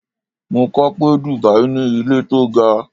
Mo kọ pé Dubai ní ilé tó ga